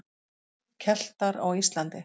Keltar á Íslandi.